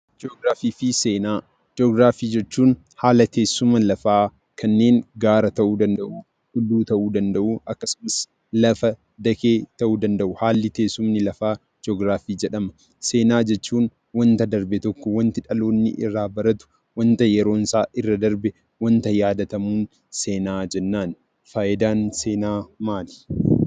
Ji'oogiraafii fi seenaa Ji'oogiraafii jechuun haala teessuma lafaa kanneen gaara ta'uu danda'u, tulluu ta'uu danda'u, akkasumas lafa dakee ta'uu danda'u haala teessumni lafaa ji'oogiraafii jedhama. Seenaa jechuun waanta darbe tokko waan dhaloonni irraa baratu, waanta yeroon isaa irra darbe, waanta yaadatamu seenaa jennaan. Fayidaan seenaa maali?